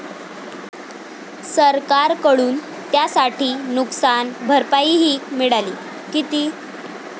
सरकारकडून त्यासाठी नुकसान भरपाईही मिळाली. किती?